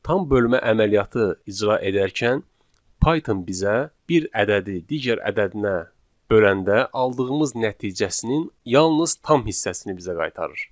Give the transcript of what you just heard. Tam bölmə əməliyyatı icra edərkən Python bizə bir ədədi digər ədədinə böləndə aldığımız nəticəsinin yalnız tam hissəsini bizə qaytarır.